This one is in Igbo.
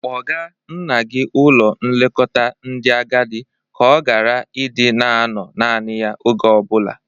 Kpọga nna gi ụlọ nlekota ndị agadị ka ọ gara ị dị na-anọ nani ya oge o bụla!